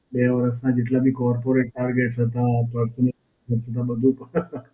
બે વર્ષનાં જેટલા બી Corporate targets. હતાં, બધું બધું